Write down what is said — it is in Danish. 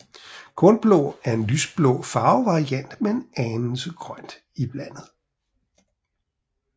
Kornblå er en lyseblå farvevariant med en anelse grøn iblandet